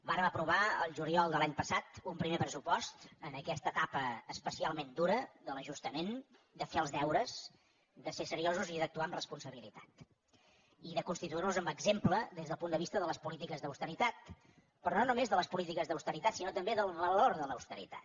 vàrem aprovar el juliol de l’any passat un primer pressupost en aquesta etapa especialment dura de l’ajustament de fer els deures de ser seriosos i d’actuar amb responsabilitat i de constituir nos en exemple des del punt de vista de les polítiques d’austeritat però no només de les polítiques d’austeritat sinó també del valor de l’austeritat